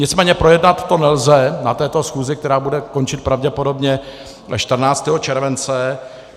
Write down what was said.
Nicméně projednat to nelze na této schůzi, která bude končit pravděpodobně 14. července.